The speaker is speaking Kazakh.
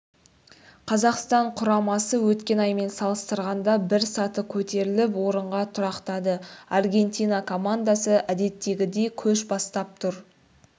қазақстан құрамасы өткен аймен салыстырғанда бір саты көтеріліп орынға тұрақтады аргентина командасы әдеттегідей көш бастап тұр